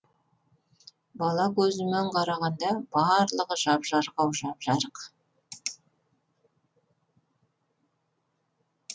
бала көзімен қарағанда барлығы жап жарық ау жап жарық